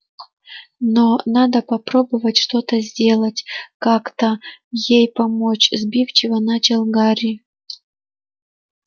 но надо попробовать что-то сделать как-то ей помочь сбивчиво начал гарри